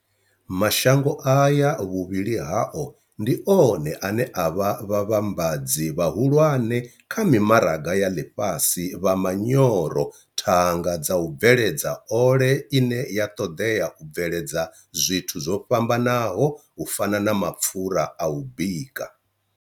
Mashango aya vhuvhili hao ndi one ane a vha vhavhambadzi vhahulwane kha mimaraga ya ḽifhasi vha manyoro, thanga dza u bveledza ole ine ya ṱoḓea kha u bveledza zwithu zwo fhambanaho u fana na mapfura a u bika.